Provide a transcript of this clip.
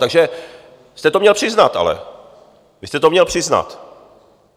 Takže jste to měl přiznat ale, vy jste to měl přiznat.